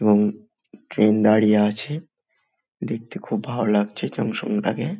এবং ট্রেন দাঁড়িয়ে আছে দেখতে খুব ভালো লাগছে জনসংখ্যাকে।